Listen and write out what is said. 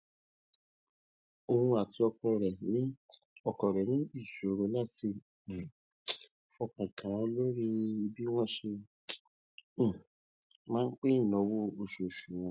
oun àti ọkọ rẹ ní ọkọ rẹ ní ìṣòro láti um fọkàn tán lórí bí wọn ṣe um máa pín ináwó oṣooṣu wọn